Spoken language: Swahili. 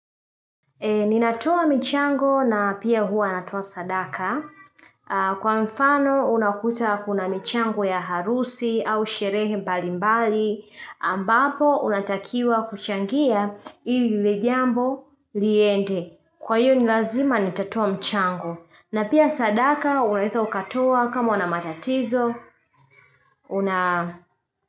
Ninatoa michango na pia huwa natoa sadaka. Kwa mfano unakuta kuna michango ya harusi au sherehe mbali mbali. Ambapo unatakiwa kuchangia ili lile jambo liende. Kwa hiyo ni lazima nitatoa mchango. Na pia sadaka unaweza ukatoa kama una matatizo.